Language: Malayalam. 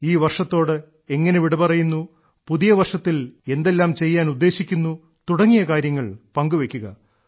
ഈവർഷത്തോട് എങ്ങനെ വിടപറയുന്നു പുതിയ വർഷത്തിൽ എന്തെല്ലാം ചെയ്യാൻ ഉദ്ദേശിക്കുന്നു തുടങ്ങിയ കാര്യങ്ങൾ പങ്കുവെയ്ക്കുക